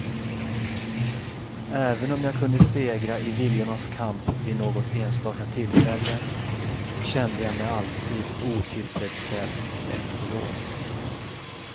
Även om jag kunde segra i viljornas kamp vid något enstaka tillfälle, kände jag mig alltid otillfredsställd efteråt.